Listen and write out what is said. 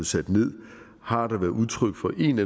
sat ned har der været udtryk for en